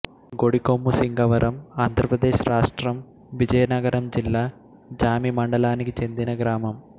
గొడికొమ్ము సింగవరంఆంధ్ర ప్రదేశ్ రాష్ట్రం విజయనగరం జిల్లా జామి మండలానికి చెందిన గ్రామం